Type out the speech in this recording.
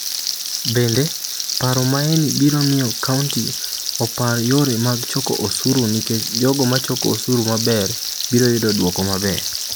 Bende, paro maeni biro miyo county opar yore mag choko osuru nikech jogo ma choko osuru maber biro yudo duoko maber.